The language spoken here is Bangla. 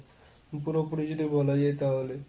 পুরো পুরি যেটা বলা যায় তাহলে।